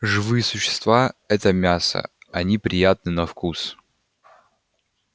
живые существа это мясо они приятны на вкус